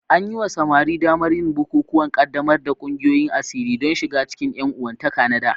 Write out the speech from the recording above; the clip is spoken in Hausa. An yi wa samari damar yin bukukuwan ƙaddamar da ƙungiyoyin asiri don shiga cikin ƴan uwantaka na dā.